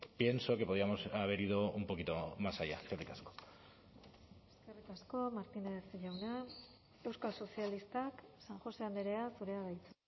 pienso que podíamos haber ido un poquito más allá eskerrik asko eskerrik asko martínez jauna euskal sozialistak san josé andrea zurea da hitza